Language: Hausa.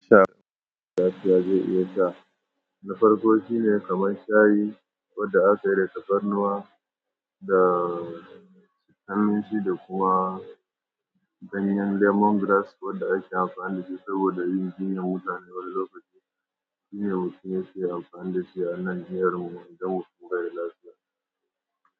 Na farko shine kamar shayi wadda aka yi da tafarnuwa da sakanin shida kuma ganyen lemongrass wadda ake amfani da shi saboda yin jinyar mutane wani lokaci. Jinyar mutane sai amfani da shi a nan jihar mu inda mutum baida lafiya.